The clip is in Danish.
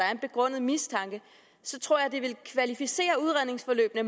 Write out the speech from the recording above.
er en begrundet mistanke tror jeg det ville kvalificere udredningsforløbene